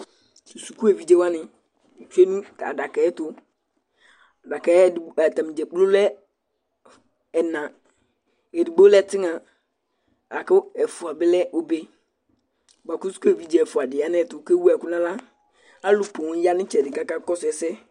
tu suku evidze wʋani tsʋe nu adakaɛ tu, adakaɛ, ata ni dza kplo lɛ ɛna, edigbo lɛ tigna, la ku ɛfʋa bi lɛ obe , bʋa ku suku evidze ɛfʋa di ya nu ayɛtu ku ewu ɛku nu aɣla, alu poŋ ya nu itsɛdi ku aka kɔsu ɛsɛ